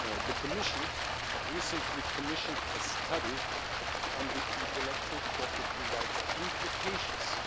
The Commission recently commissioned a study on the intellectual property rights implications